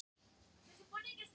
Hlébergi